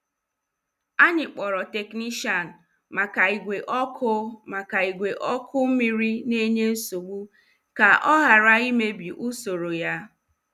Anyị kpọrọ teknishian maka ìgwè ọkụ maka ìgwè ọkụ mmiri na enye nsogbu ka oghara imebi usoro ya.